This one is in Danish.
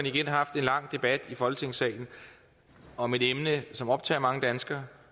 igen haft en lang debat i folketingssalen om et emne som optager mange danskere